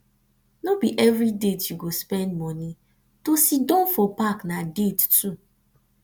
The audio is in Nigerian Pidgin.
no be every date you go spend moni to siddon for park na date too